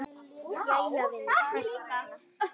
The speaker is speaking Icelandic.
Jæja vinur, hvers vegna?